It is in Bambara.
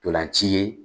Ntolan ci ye